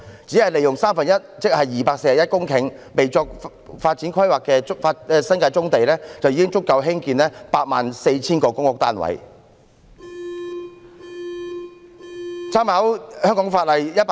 只要利用三分之一，即約241公頃未作發展規劃的新界棕地，已足夠興建 84,000 個公屋單位。